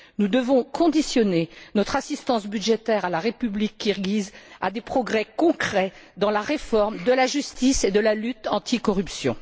Nous devons conditionner notre assistance budgétaire à la République kirghize à des progrès concrets dans la réforme de la justice et de la lutte anti corruption.